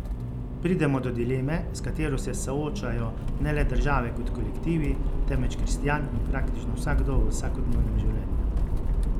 Pridemo do dileme, s katero se soočajo ne le države kot kolektivi, temveč kristjan in praktično vsakdo v vsakodnevnem življenju.